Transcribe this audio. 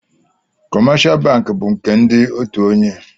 kọmáshá bankị bu nke ndị òtù ònyè